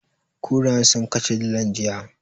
Kurayen sun kashe dilan, jiya.